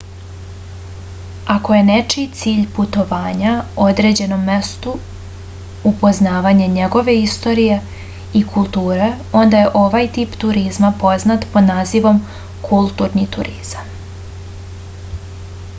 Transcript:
ako je nečiji cilj putovanja određenom mestu upoznavanje njegove istorije i kulture onda je ovaj tip turizma poznat pod nazivom kulturni turizam